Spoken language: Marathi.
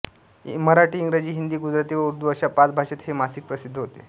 मराठी इंग्रजी हिंदी गुजराती व उर्दू अशा पाच भाषेत हे मासिक प्रसिद्ध होते